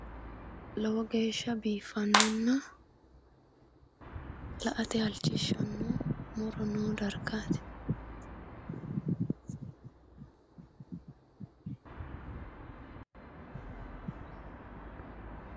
lowo geeshsha biiffannona la'ate halchishshanno muro no dargaati.